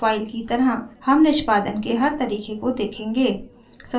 file की तरहहम निष्पादन के हर तरीके को देखेंगे